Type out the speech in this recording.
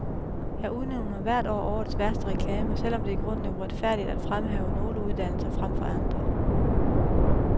Jeg udnævner hvert år årets værste reklame, selv om det i grunden er uretfærdigt at fremhæve nogle uddannelser frem for andre.